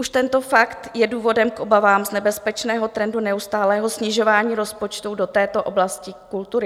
Už tento fakt je důvodem k obavám z nebezpečného trendu neustálého snižování rozpočtu do této oblasti kultury.